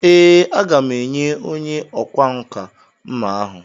Ee, a ga m enye onye ọkwá nkà mma ahụ..